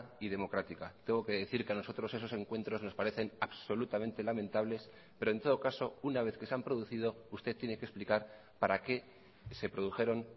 y democrática tengo que decir que a nosotros esos encuentros nos parecen absolutamente lamentables pero en todo caso una vez que se han producido usted tiene que explicar para qué se produjeron